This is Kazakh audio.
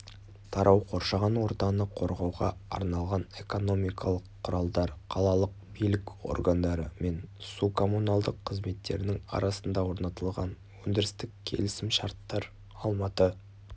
тарау қоршаған ортаны қорғауға арналған экономикалық құралдар қалалық билік органдары мен су коммуналдық қызметтерінің арасында орнатылған өндірістік келісімшарттар алматы